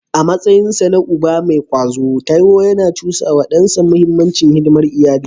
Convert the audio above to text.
A matsayinsa na uba mai kwazo, Taiwo yana cusa wa dansa muhimmancin hidimar al’umma.